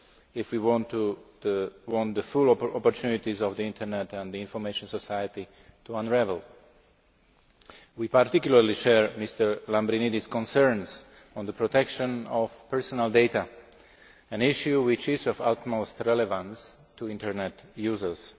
if we want the full opportunities of the Internet and the information society to unravel. We particularly share Mr Lambrinidis's concerns on the protection of personal data, an issue which is of utmost relevance to Internet users.